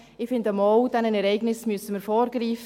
Ich finde: Doch, diesen Ereignissen müssen wir vorgreifen.